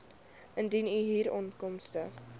indien u huurinkomste